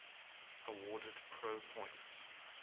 awarded pro points